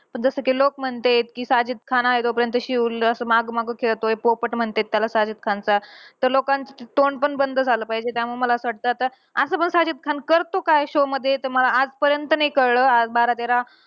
जसं कि लोकं म्हनतेंत, कि साजिद खान आहे तोपर्यंत शिव ल असं मागं मागं खेळतोय. पोपट म्हणत्यात त्याला साजिद खानचा. तर लोकांचं तोंड पण बंद झालं पाहिजे. त्यामुळं मला असं वाटतं, आता असं पण साजिद खान करतो काय show मध्ये. तर मला आजपर्यंत नाही कळलं. आज बारा, तेरा